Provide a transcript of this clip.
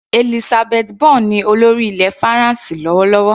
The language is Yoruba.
Elisabeth Borne ní olórí ilẹ̀ faransé lọ́wọ́lọ́wọ́.